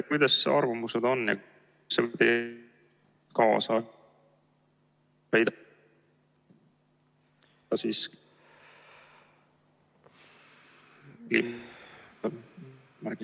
Kuidas arvamused on? ...